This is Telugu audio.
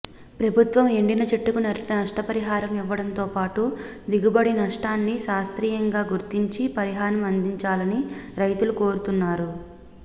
ప్రభుత్వం ఎండిన చెట్టుకు నష్టపరిహారం ఇవ్వడంతో పాటు దిగుబడి నష్టాన్ని శాస్త్రీయంగా గుర్తించి పరిహారం అందించాలని రైతులు కోరుతున్నారు